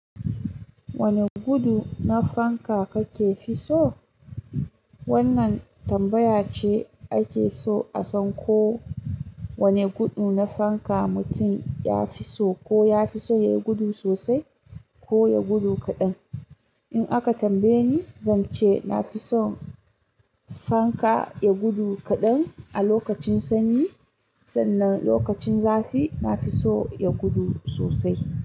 Wane gudu na fanka kake fi so? Wannan tambaya ce ake so a san ko wane gudu na fanka mutum ya fi so, ko ya fi so ya gudu sosai ko ya gudu kaɗan. In aka tambaye ni, zan ce na fi son fanka ya gudu kaɗan a lokacin sanyi, sannan lokacin zafi na fi so ya gudu sosai.